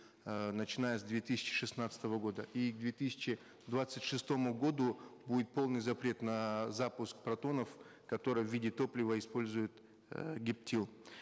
э начиная с две тысячи шестнадцатого года и к две тысячи двадцать шестому году будет полный запрет на запуск протонов которые в виде топлива используют э гептил